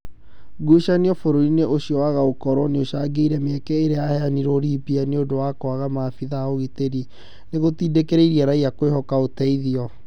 Ngũcanio bũrũri-inĩ ũcio waga gũkorwo nĩicangĩirie mĩeke ĩrĩa yaheanirwo Libya nĩũndũ wa kwaga maabitha a ũgitĩri, nĩgũtindĩkĩrĩirie raia kwĩhoka ũteithio